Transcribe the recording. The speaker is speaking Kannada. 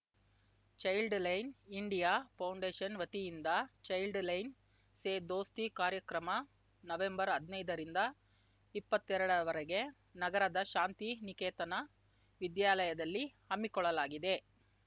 ಚೈಲ್ಡ್ ಲೈನ್‌ ಇಂಡಿಯಾ ಫೌಂಡೇಷನ್‌ ವತಿಯಿಂದ ಚೈಲ್ಡ್ ಲೈನ್‌ ಸೇ ದೊಸ್ತಿ ಕಾರ್ಯಕ್ರಮ ನವೆಂಬರ್‌ ಹದ್ನೈದರಿಂದ ಇಪ್ಪತ್ತೆರಡರವರೆಗೆ ನಗರದ ಶಾಂತಿ ನಿಕೇತನ ವಿದ್ಯಾಲಯದಲ್ಲಿ ಹಮ್ಮಿಕೊಳ್ಳಲಾಗಿದೆ